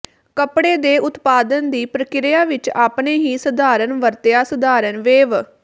ਕੱਪੜੇ ਦੇ ਉਤਪਾਦਨ ਦੀ ਪ੍ਰਕਿਰਿਆ ਵਿੱਚ ਆਪਣੇ ਹੀ ਸਧਾਰਨ ਵਰਤਿਆ ਸਧਾਰਨ ਵੇਵ